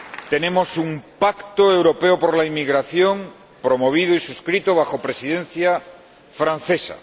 Tenemos un pacto europeo por la inmigración, promovido y suscrito bajo la Presidencia francesa.